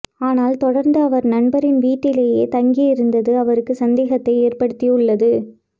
ஆனால் தொடர்ந்து அவர் நண்பரின் வீட்டிலேயே தங்கியிருந்தது அவருக்கு சந்தேகத்தை ஏற்படுத்தியுள்ளது